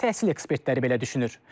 Təhsil ekspertləri belə düşünür.